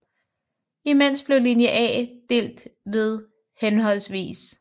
Imens blev linje A delt ved hhv